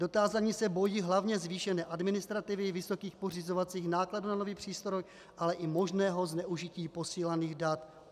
Dotázaní se bojí hlavně zvýšené administrativy, vysokých pořizovacích nákladů na nový přístroj, ale i možného zneužití posílaných dat.